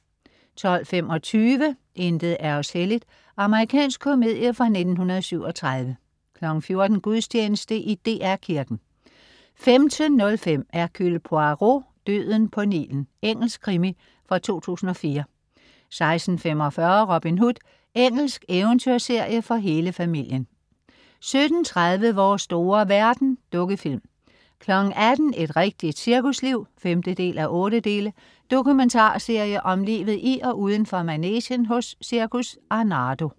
12.25 Intet er os helligt. Amerikansk komedie fra 1937 14.00 Gudstjeneste i DR Kirken 15.05 Hercule Poirot: Døden på Nilen. Engelsk krimi fra 2004 16.45 Robin Hood. Engelsk eventyrserie for hele familien 17.30 Vores store verden. Dukkefilm 18.00 Et rigtigt cirkusliv 5:8. Dokumentarserie om livet i og udenfor manegen hos Cirkus Arnardo